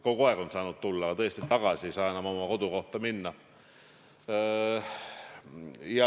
Kogu aeg on saanud tulla, aga tõesti, tagasi ei saa enam oma kodukohta minna.